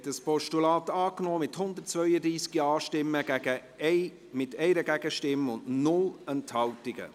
Sie haben das Postulat angenommen, mit 132 Ja-Stimmen bei 1 Gegenstimme und 0 Enthaltungen.